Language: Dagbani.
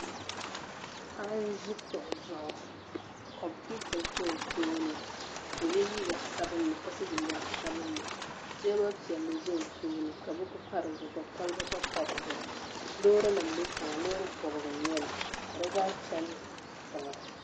Paɣa n ʒi kuɣu zuɣu ka kompiuta ʒɛ o tooni ka o yɛ liiga sabinli ka so jinjɛm sabinli ka teebuli piɛlli pa o tooni ka buku pa dizuɣu ka kolba gba paya Loori nim bɛ tiŋa loori bobgu n nyɛli ka di zaa chɛni tiŋa